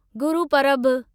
गुरूपरभु